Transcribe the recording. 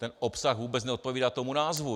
Ten obsah vůbec neodpovídá tomu názvu.